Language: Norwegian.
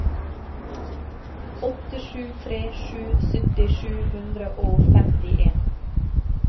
åtte sju tre sju sytti sju hundre og femtien